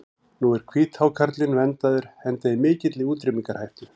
Nú er hvíthákarlinn verndaður enda í mikilli útrýmingarhættu.